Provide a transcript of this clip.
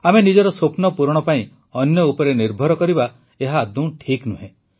ଆମେ ନିଜର ସ୍ୱପ୍ନ ପୂରଣ ପାଇଁ ଅନ୍ୟ ଉପରେ ନିର୍ଭର କରିବା ଏହା ଆଦୌ ଠିକ୍ ନୁହେଁ